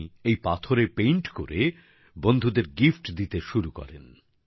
উনি এই পাথরে পেইন্ট করে বন্ধুদের গিফট দিতে শুরু করেন